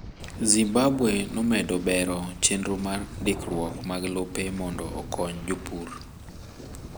Zimbabwe nomedo bero chenro mar ndikruok mag lope mondo okony jopur